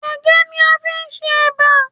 Ẹ̀gẹ́ ni a fi ń ṣe éba.